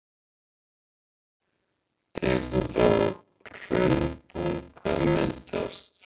Tekur þá hraunbunga að myndast.